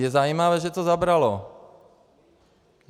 Je zajímavé, že to zabralo.